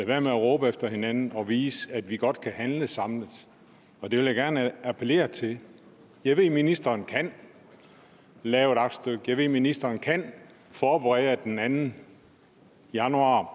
være med at råbe ad hinanden og vise at vi godt kan handle samlet det vil jeg gerne appellere til jeg ved at ministeren kan lave et aktstykke jeg ved at ministeren kan forberede at der den anden januar